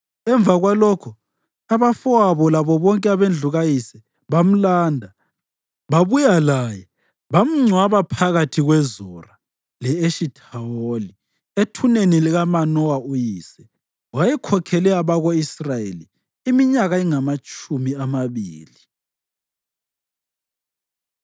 Emva kwalokho abafowabo labo bonke abendlu kayise bamlanda. Babuya laye bamngcwaba phakathi kweZora le-Eshithawoli ethuneni likaManowa uyise. Wayekhokhele abako-Israyeli iminyaka engamatshumi amabili.